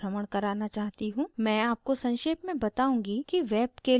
मैं आपको संक्षेप में बताउंगी कि web के लिए image कैसे तैयार करते हैं